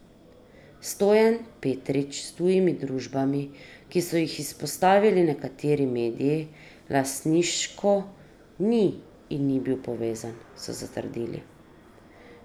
Stojan Petrič s tujimi družbami, ki so jih izpostavili nekateri mediji, lastniško ni in ni bil povezan, so zatrdili.